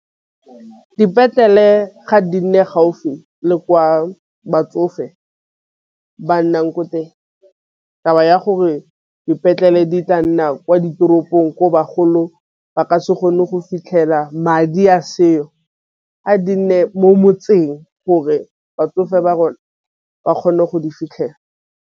Dipetlele ga di nne gaufi le kwa batsofe ba nnang ko teng. Ya gore dipetlele di tla nna kwa ditoropong ko bagolong ba ka se kgone go fitlhela madi a seo, a di nne mo motseng gore batsofe ba rona ba kgone go di fitlhela.